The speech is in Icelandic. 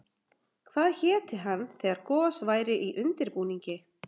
Hvað héti hann þegar gos væri í undirbúningi?